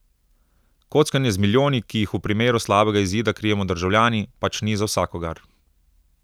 Kockanje z milijoni, ki jih v primeru slabega izida krijemo državljani, pač ni za vsakogar.